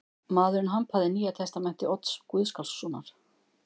Maðurinn hampaði Nýja testamenti Odds Gottskálkssonar.